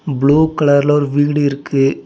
Blue கலர்ல ஒரு வீடு இருக்கு.